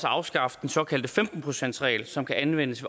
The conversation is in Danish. at afskaffe den såkaldte femten procentsreglen som kan anvendes